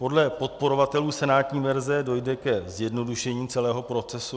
Podle podporovatelů senátní verze dojde ke zjednodušení celého procesu.